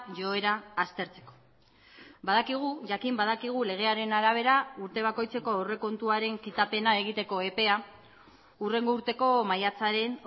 joera aztertzeko badakigu jakin badakigu legearen arabera urte bakoitzeko aurrekontuaren kitapena egiteko epea hurrengo urteko maiatzaren